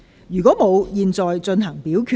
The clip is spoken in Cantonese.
如果沒有，現在進行表決。